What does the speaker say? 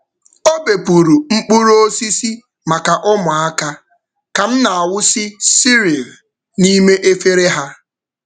Ọ bepụrụ mkpụrụ osisi maka ụmụaka ka m na-awụsị cereal n’ime efere ha.